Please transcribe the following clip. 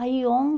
Aí,